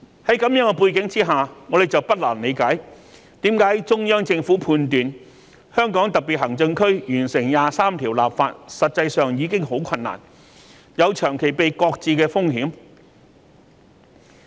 在這樣的背景之下，我們就不難理解為何中央政府判斷香港特別行政區完成二十三條立法實際上已很困難，有長期被擱置的風險。